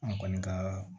An kɔni kaa